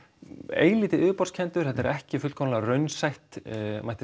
eilítið yfirborðskenndur þetta er ekki fullkomlega raunsætt mætti